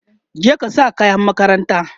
je ka sa kayan makaranta!